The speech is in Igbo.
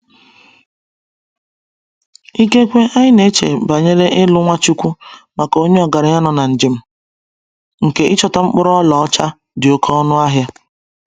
Ikekwe anyị na-eche banyere ilu Nwachukwu maka onye ọgaranya nọ na njem nke ichọta mkpụrụ ọlaọcha dị oké ọnụ ahịa.